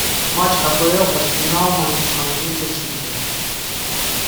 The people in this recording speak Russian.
матч апл арсенал с манчестер сити